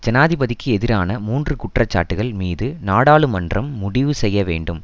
ஜனாதிபதிக்கு எதிரான மூன்று குற்றச்சாட்டுக்கள் மீது நாடாளுமன்றம் முடிவு செய்யவேண்டும்